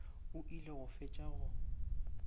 o ile go fetša go